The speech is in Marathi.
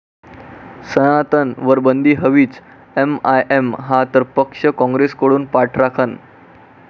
सनातन'वर बंदी हवीच!, एमआयएम हा तर पक्ष, काँग्रेसकडून पाठराखण